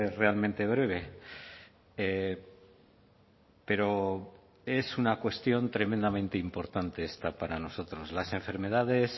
realmente breve pero es una cuestión tremendamente importante esta para nosotros las enfermedades